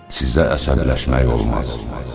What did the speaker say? Sizə əsəbləşmək olmaz.